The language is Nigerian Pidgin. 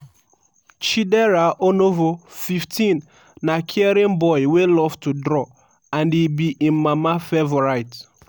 chidera onovo 15 na caring boy wey love to draw and e be im mama favourite.